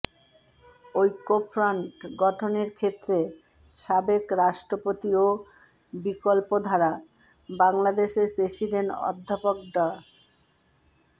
ঐক্যফ্রন্ট গঠনের ক্ষেত্রে সাবেক রাষ্ট্রপতি ও বিকল্পধারা বাংলাদেশের প্রেসিডেন্ট অধ্যাপক ডা